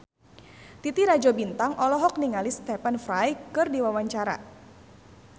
Titi Rajo Bintang olohok ningali Stephen Fry keur diwawancara